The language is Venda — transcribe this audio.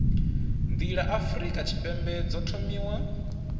nḓila afurika tshipembe dzo thomiwa